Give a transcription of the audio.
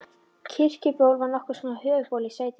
Kirkjuból var nokkurs konar höfuðból í sveitinni.